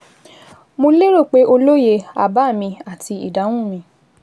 Mo lérò pé o lóye àbá mi àti ìdáhùn mi